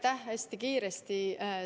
Vastan hästi kiiresti.